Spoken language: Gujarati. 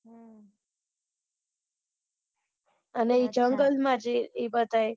અને જંગલ માં છે એ બધાય